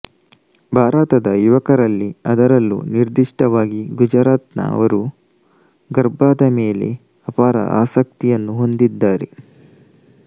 ಭಾರತದ ಯುವಕರಲ್ಲಿಅದರಲ್ಲೂ ನಿರ್ದಿಷ್ಟವಾಗಿಗುಜರಾತ್ ನವರು ಗರ್ಭಾದ ಮೇಲೆ ಅಪಾರ ಅಸಕ್ತಿಯನ್ನು ಹೊಂದಿದ್ದಾರೆ